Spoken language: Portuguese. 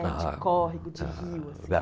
De córrego, de rio, assim.